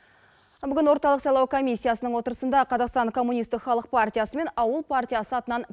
бүгін орталық сайлау комиссиясының отырысында қазақстан коммунистік халық партиясы мен ауыл партиясы атынан